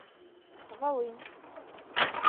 волынь